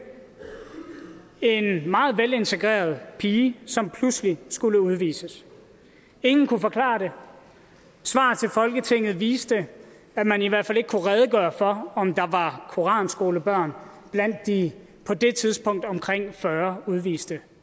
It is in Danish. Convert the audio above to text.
en meget velintegreret pige som pludselig skulle udvises ingen kunne forklare det svar til folketinget viste at man i hvert fald ikke kunne redegøre for om der var koranskolebørn blandt de på det tidspunkt omkring fyrre udviste